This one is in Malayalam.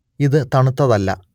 ഇത് തണുത്തതല്ല